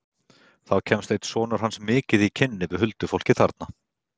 Þá kemst einn sonur hans mikið í kynni við huldufólkið þarna.